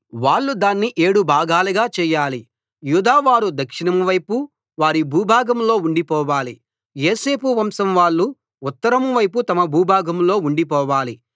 వాళ్ళు దాన్ని ఏడు భాగాలుగా చేయాలి యూదా వారు దక్షిణం వైపు వారి భూభాగంలో ఉండిపోవాలి యోసేపు వంశం వాళ్ళు ఉత్తరం వైపు తమ భూభాగంలో ఉండిపోవాలి